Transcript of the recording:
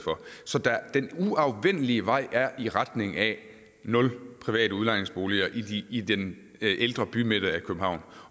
så den uafvendelige vej er i retning af nul private udlejningsboliger i i den ældre bymidte i københavn